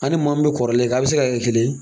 A ni maa min be kɔrɔlen kan a' be se ka kɛ kelen ye?